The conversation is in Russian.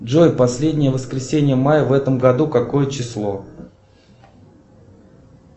джой последнее воскресенье мая в этом году какое число